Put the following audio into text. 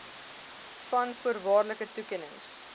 v voorwaardelike toekennings